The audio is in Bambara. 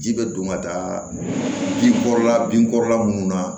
Ji bɛ don ka taa bin kɔrɔla bin kɔrɔ la munnu na